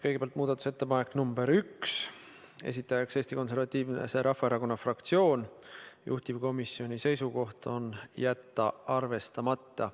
Kõigepealt muudatusettepanek nr 1, esitajaks Eesti Konservatiivse Rahvaerakonna fraktsioon, juhtivkomisjoni seisukoht on jätta arvestamata.